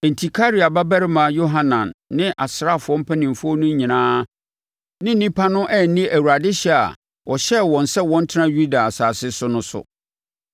Enti, Karea babarima Yohanan ne asraafoɔ mpanimfoɔ no nyinaa ne nnipa no anni Awurade hyɛ a ɔhyɛɛ wɔn sɛ wɔntena Yuda asase so no so.